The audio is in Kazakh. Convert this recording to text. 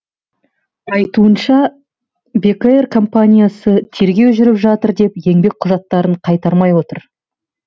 айтуынша бек эйр компаниясы тергеу жүріп жатыр деп еңбек құжаттарын қайтармай отыр